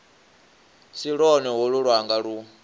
si lwone holu lwanga lu